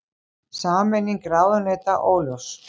Sameining ráðuneyta óljós